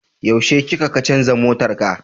Yaushe kika kacanza motarka?